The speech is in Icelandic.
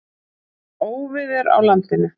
Óveður á landinu